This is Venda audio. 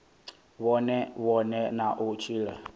vhone vhane na u tshila